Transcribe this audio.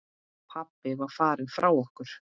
Pabbi var farinn frá okkur.